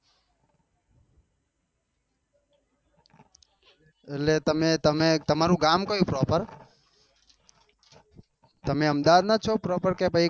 એટલે તમે તમે તારું ગામ કયું proper તમે આમદાવાદ ના જ છો